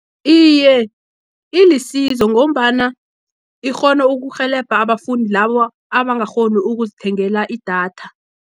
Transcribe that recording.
Iye, ilisizo, ngombana ikghona ukurhelebha abafundi labo, abangakghoni ukuzithengela idatha.